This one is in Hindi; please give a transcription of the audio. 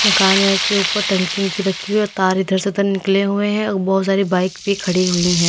मकान के ऊपर टंकी ओंकी रखी हुई है और तार इधर से उधर निकले हुए हैं बहुत सारी बाइक भी खड़ी हुई हैं।